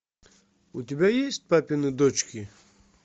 у тебя есть папины дочки